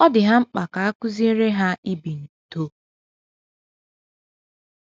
Ọ dị ha mkpa ka a kụziere ha ibi n’udo.